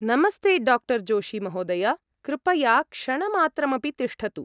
नमस्ते, डा. जोशी महोदय। कृपया क्षणमात्रमपि तिष्ठतु।